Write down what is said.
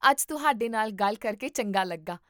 ਅੱਜ ਤੁਹਾਡੇ ਨਾਲ ਗੱਲ ਕਰਕੇ ਚੰਗਾ ਲੱਗਾ